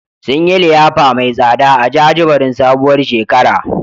Sun yi liyafa mai tsada a jajibirin sabuwar shekara.